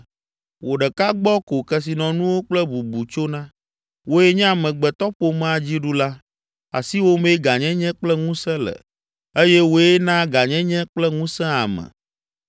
Wò ɖeka gbɔ ko kesinɔnuwo kple bubu tsona; wòe nye amegbetɔƒomea dziɖula. Asiwòmee gãnyenye kple ŋusẽ le eye wòe naa gãnyenye kple ŋusẽ ame.